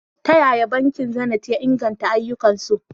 Ta yaya bankin Zenith ya inganta ayyukansu?